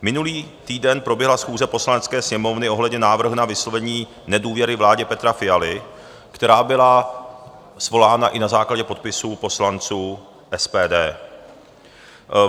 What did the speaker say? Minulý týden proběhla schůze Poslanecké sněmovny ohledně návrhu na vyslovení nedůvěry vládě Petra Fialy, která byla svolána i na základě podpisů poslanců SPD.